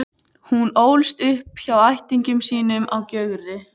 Hún ólst upp hjá ættingjum sínum á Gjögri.